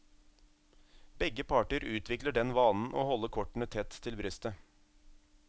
Begge parter utvikler den vanen å holde kortene tett til brystet.